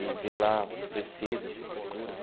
e ver lá precisa-se, procura-se.